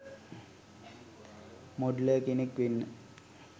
Modeller කෙනෙක් වෙන්න.